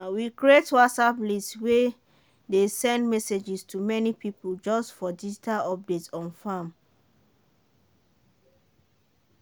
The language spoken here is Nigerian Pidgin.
we create whatsapp list way dey send messages to many people just for digital update on farm.